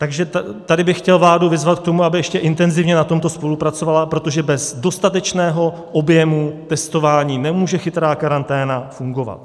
Takže tady bych chtěl vládu vyzvat k tomu, aby ještě intenzivně na tomto spolupracovala, protože bez dostatečného objemu testování nemůže chytrá karanténa fungovat.